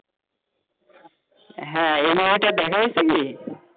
হ্যাঁ এই movie টা দেখা হয়েছে কি?